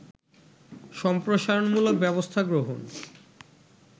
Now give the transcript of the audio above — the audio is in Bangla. সম্প্রসারণমূলক ব্যবস্থা গ্রহণ